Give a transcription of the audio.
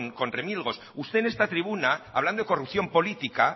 con remilgos usted en esta tribuna hablando de corrupción política